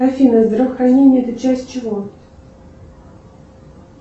афина здравоохранение это часть чего